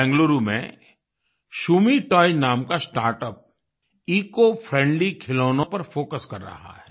बेंगलुरु में शम्मे शूमी टॉयज़ नाम का स्टार्टअप इकोफ्रेंडली खिलौनों पर फोकस कर रहा है